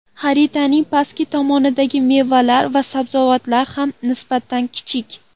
Xaritaning pastki tomonidagi mevalar va sabzavotlar ham nisbatan kichik.